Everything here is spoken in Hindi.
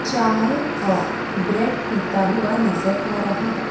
चाय और ब्रेड पीता हुआ नजर आ रहा है।